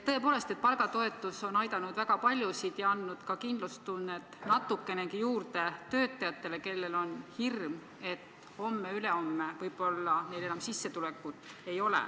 Tõepoolest, palgatoetus on aidanud väga paljusid ja andnud ka kindlustunnet natukenegi juurde töötajatele, kellel on hirm, et homme-ülehomme võib-olla neil enam sissetulekut ei ole.